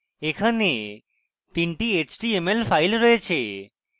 এখানে তিনটি html files রয়েছে